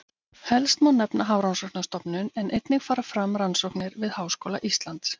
Helst má nefna Hafrannsóknastofnun en einnig fara fram rannsóknir við Háskóla Íslands.